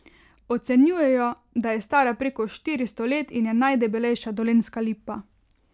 Ocenjujejo, da je stara preko štiristo let in je najdebelejša dolenjska lipa.